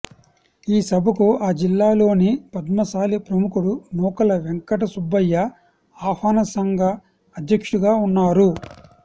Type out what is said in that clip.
ఈ సభకు ఆ జిల్లాలోని పద్మశాలి ప్రముఖుడు నూకల వెంకటసుబ్బయ్య ఆహ్వాన సంఘ అధ్యక్షుడుగా ఉన్నారు